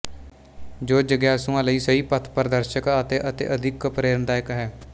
ਜੋ ਜਿਗਿਆਸੂਆਂ ਲਈ ਸਹੀ ਪਥਪ੍ਰਦਰਸ਼ਕ ਅਤੇ ਅਤਿਅਧਿਕ ਪ੍ਰੇਰਣਾਦਾਇਕ ਹੈ